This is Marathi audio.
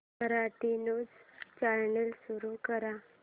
मराठी न्यूज चॅनल सुरू कर